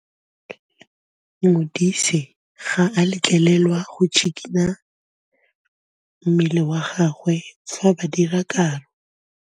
Modise ga a letlelelwa go tshikinya mmele wa gagwe fa ba dira karô.